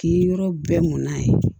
K'i yɔrɔ bɛɛ mɔn n'a ye